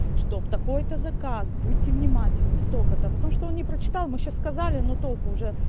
что в такой-то заказ будьте внимательны столько-то потому что он не прочитал мы сейчас сказали но толку уже